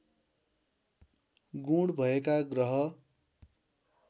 गुण भएका ग्रह